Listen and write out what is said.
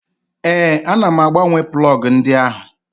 Ee, ana m agbanwe plọgụ ndị ahụ.